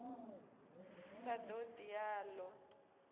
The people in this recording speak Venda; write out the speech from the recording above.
sa ṱo ḓi a ṱo